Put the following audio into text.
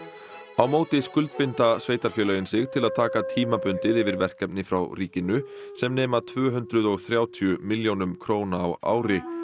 á móti skuldbinda sveitarfélögin sig til að taka tímabundið yfir verkefni frá ríkinu sem nema tvö hundruð og þrjátíu milljónum króna á ári